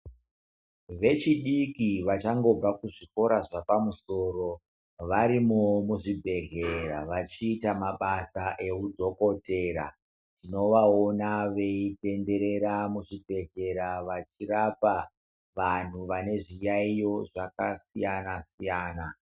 Vechidiki vachangobva kuzvikora zvepamusoro varimoo muzvibhedhlera vachiita mabasa eudhokodhera tinovaona veitenderera muzvibhedhlera vachirapa vanthu vane zviyaiyo zvakasiyana siyana.